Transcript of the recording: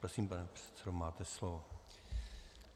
Prosím, pane předsedo, máte slovo.